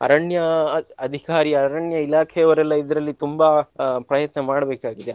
ಅರಣ್ಯ ಅದ್~ ಅಧಿಕಾರಿ ಅರಣ್ಯ ಇಲಾಖೆಯವರೆಲ್ಲ ಇದರಲ್ಲಿ ತುಂಬಾ ಅಹ್ ಪ್ರಯತ್ನ ಮಾಡ್ಬೇಕಾಗಿದೆ.